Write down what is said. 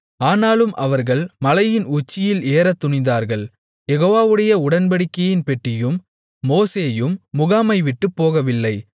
ஆனாலும் அவர்கள் மலையின் உச்சியில் ஏறத் துணிந்தார்கள் யெகோவாவுடைய உடன்படிக்கையின் பெட்டியும் மோசேயும் முகாமை விட்டுப்போகவில்லை